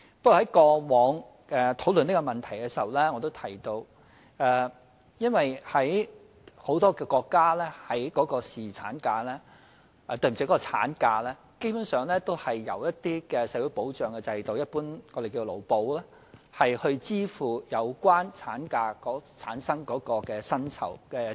不過，正如我以往討論這項問題時提到，很多國家的產假，基本上也是由一些社會保障制度——即我們一般稱為勞保——支付有關產假所產生的薪酬開支。